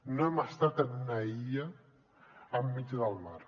no hem estat en una illa enmig del mar